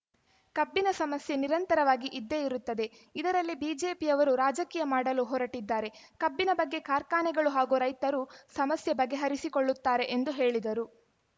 ಕಬ್ಬಿನ ಸಮಸ್ಯೆ ನಿರಂತರವಾಗಿ ಇದ್ದೇ ಇರುತ್ತದೆ ಇದರಲ್ಲಿ ಬಿಜೆಪಿಯವರು ರಾಜಕೀಯ ಮಾಡಲು ಹೊರಟಿದ್ದಾರೆ ಕಬ್ಬಿನ ಬಗ್ಗೆ ಕಾರ್ಖಾನೆಗಳು ಹಾಗೂ ರೈತರು ಸಮಸ್ಯೆ ಬಗೆಹರಿಸಿಕೊಳ್ಳುತ್ತಾರೆ ಎಂದು ಹೇಳಿದರು